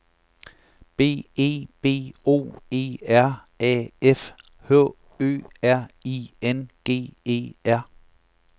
B E B O E R A F H Ø R I N G E R